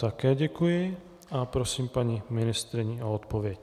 Také děkuji a prosím paní ministryni o odpověď.